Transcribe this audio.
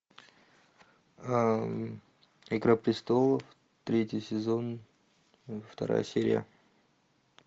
игра престолов третий сезон вторая серия